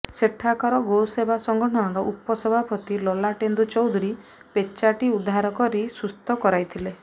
ସେଠାକାର ଗୋସେବା ସଂଗଠନର ଉପସଭାପତି ଲଲାଟେନ୍ଦୁ ଚୌଧୁରୀ ପେଚାଟି ଉଦ୍ଧାରି ସୁସ୍ଥ କରାଇଥିଲେ